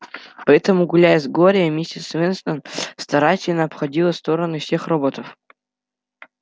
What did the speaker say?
поэтому гуляя с глорией миссис вестон старательно обходила стороной всех роботов